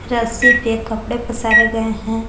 रस्सी पे कपड़े पसारे गए हैं।